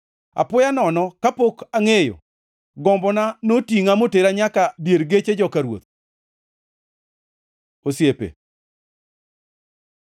Apoya nono, kapok angʼeyo, gombona notingʼa motera nyaka dier geche joka ruoth. Osiepe